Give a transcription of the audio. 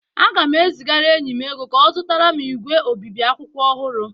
Aga m ezigara enyi m ego ka ọ zụtara m ígwè obibi akwụkwọ ọhụrụ